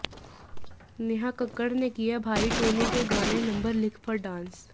नेहा कक्कड़ ने किया भाई टोनी के गाने नंबर लिख पर डांस